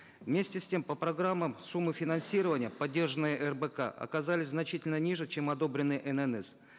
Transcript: вместе с тем по программам суммы финансирования поддержанные рбк оказались значительно ниже чем одобренные ннс